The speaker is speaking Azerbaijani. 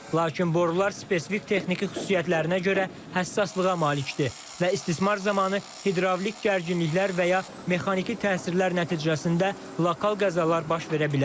Lakin borular spesifik texniki xüsusiyyətlərinə görə həssaslığa malikdir və istismar zamanı hidravlik gərginliklər və ya mexaniki təsirlər nəticəsində lokal qəzalar baş verə bilər.